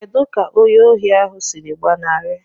Kedu ka onye ohi ahụ siri gbanarị?